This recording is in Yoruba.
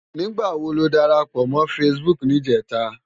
Nigbá wó ló dárápò mò fãsibúk nijètá?